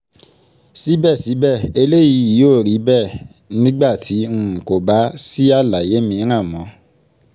síbẹ̀síbẹ̀ eléyìí yóò rí bẹ́ẹ̀ nígbà tí um kò bá um sí àlàyé mìíràn mọ́